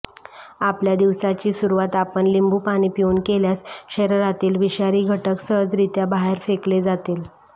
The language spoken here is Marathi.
आपल्या दिवसाची सुरुवात आपण लिंबू पाणी पिऊन केल्यास शरीरातील विषारी घटक सहजरित्या बाहेर फेकले जातील